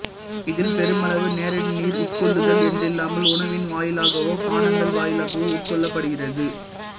இதில் பெருமளவு நேரடி நீர் உட்கொள்ளுதல் என்றில்லாமல் உணவின் வாயிலாகவோ பானங்கள் வாயிலாகவோ உட்கொள்ளப்படுகிறது